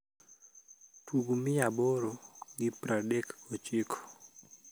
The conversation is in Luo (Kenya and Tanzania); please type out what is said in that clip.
tug mia aboro gi praadek gochiko